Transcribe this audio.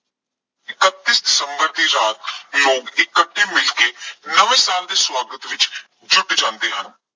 ਇਕੱੱਤੀ ਦਸੰਬਰ ਦੀ ਰਾਤ ਲੋਕ ਇਕੱਠੇ ਮਿਲਕੇ ਨਵੇਂ ਸਾਲ ਦੇ ਸਵਾਗਤ ਵਿੱਚ ਜੁੱਟ ਜਾਂਦੇ ਹਨ।